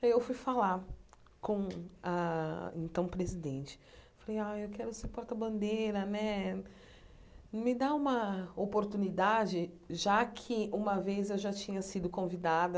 Aí eu fui falar com a então presidente, falei, ai eu quero ser porta-bandeira né, me dá uma oportunidade, já que uma vez eu já tinha sido convidada